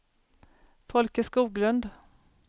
Folke Skoglund